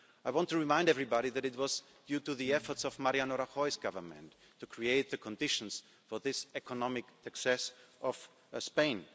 I want to remind everybody that this was due to the efforts of Mariano Rajoyʼs Government to create the conditions for economic success in Spain.